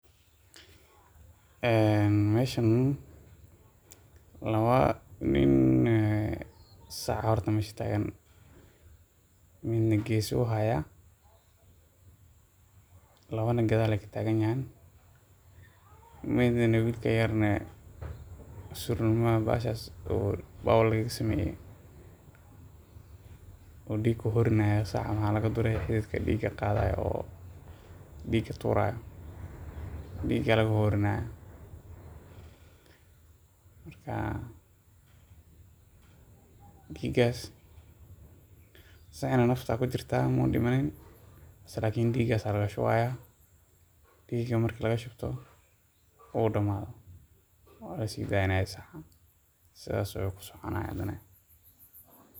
Meeshan laba nin, sac ayaa horta meesha taagan nin na geesaha ayuu haaya, labana gadaal ayeey ka taagan yihiin, wiilka yarna suurma baaw laga sameye ayuu diig kuhoorin haaya, sac waxaa laga dure diiga turaayo, marka diiga, sacana nafta ayaa kujirtaa muu dimanin lakin diiga ayaa laga shubaaya, diiga marku damaado waa la sidaaynaya saca saas ayuu kusoconaya hadane.